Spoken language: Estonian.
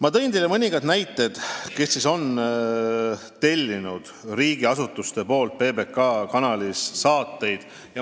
Ma tõin teile mõningaid näiteid, millised riigiasutused on PBK-lt saateid tellinud.